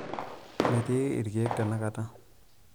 metii irkeek tenakata